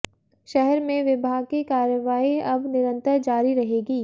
शहर में विभाग की कार्रवाई अब निरंतर जारी रहेगी